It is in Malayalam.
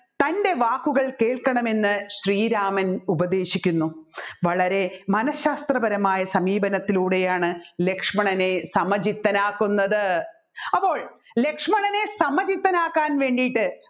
തൻ്റെ വാക്കുകൾ കേൾക്കണമെന്ന് ശ്രീരാമൻ ഉപദേശിക്കുന്നു വളരെ മനഃശാസ്ത്രപരമായ സമീപനത്തിലൂടെയാണ് ലക്ഷ്മണനെ സമചിത്തനാകുന്നുന്നത് അപ്പോൾ ലക്ഷ്മണനെ സമചിത്തനാകാൻ വേണ്ടിയിട്ട്